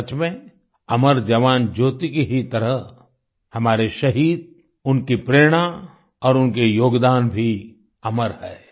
सच में अमर जवान ज्योति की ही तरह हमारे शहीद उनकी प्रेरणा और उनके योगदान भी अमर हैं